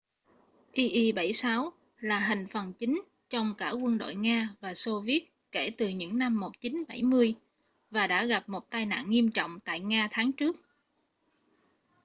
il-76 là hành phần chính trong cả quân đội nga và xô viết kể từ những năm 1970 và đã gặp một tai nạn nghiêm trọng tại nga tháng trước